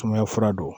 Sumaya fura don